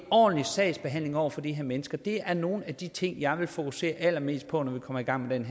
ordentlig sagsbehandling over for de her mennesker det er nogle af de ting jeg vil fokusere allermest på når vi kommer i gang med